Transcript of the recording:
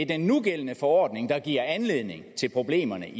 den nugældende forordning der i giver anledning til problemerne